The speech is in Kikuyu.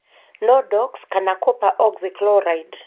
Nordox kana copper oxychloride.